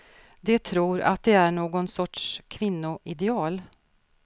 De tror att de är någon sorts kvinnoideal.